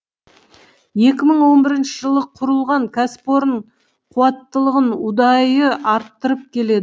екі мың он бірінші жылы құрылған кәсіпорын қуаттылығын ұдайы арттырып келеді